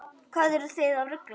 Hvað eruð þið að rugla?